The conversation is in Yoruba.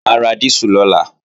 Mà á ra dísù lọ́la